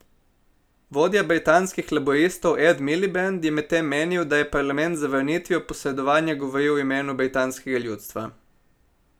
Vodja britanskih laburistov Ed Miliband je medtem menil, da je parlament z zavrnitvijo posredovanja govoril v imenu britanskega ljudstva.